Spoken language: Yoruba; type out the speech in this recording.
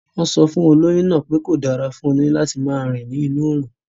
Wọ́n sọ fún olóyún náà pé kọ̀ dára fún olóyún láti máa rìn ní inú òrùn